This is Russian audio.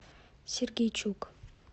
сергейчук